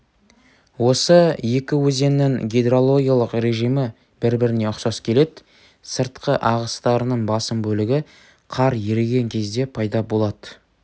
осы екі өзеннің гидрологиялық режимі бір-біріне ұқсас келеді сыртқы ағыстарының басым бөлігі қар еріген кезде пайда болады